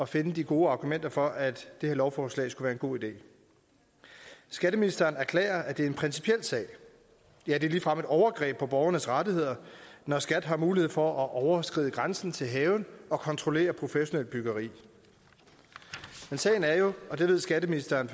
finde de gode argumenter for at det her lovforslag skulle være en god idé skatteministeren erklærer at det er en principiel sag ja at det ligefrem er et overgreb på borgernes rettigheder når skat har mulighed for at overskride grænsen til haven og kontrollere professionelt byggeri men sagen er jo og det ved skatteministeren